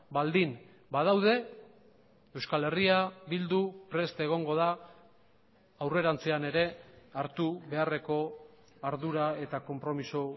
baldin badaude euskal herria bildu prest egongo da aurrerantzean ere hartu beharreko ardura eta konpromiso